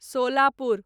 Solapur